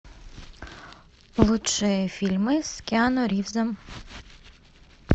лучшие фильмы с киану ривзом